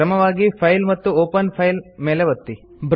ಕ್ರಮವಾಗಿ ಫೈಲ್ ಮತ್ತು open file ಮೇಲೆ ಒತ್ತಿರಿ